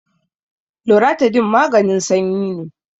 loratadine maganin sanyi ne